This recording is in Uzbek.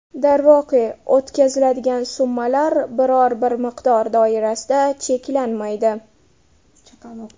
Darvoqe, o‘tkaziladigan summalar biror-bir miqdor doirasida cheklanmaydi.